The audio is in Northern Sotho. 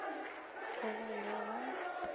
go ba le le go